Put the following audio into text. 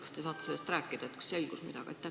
Kas te saate sellest rääkida, kas on midagi selgunud?